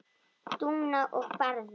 Dúna og Barði.